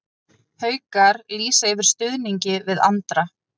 Haukar lýsa yfir stuðningi við Andra